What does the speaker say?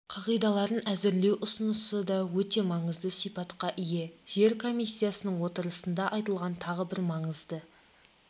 қағидаларын әзірлеу ұсынысы да өте маңызды сипатқа ие жер комиссиясының отырысында айтылған тағы бір маңызды